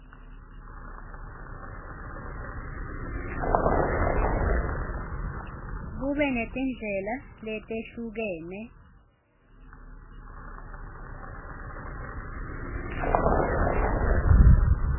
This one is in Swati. kube netindlela letehlukene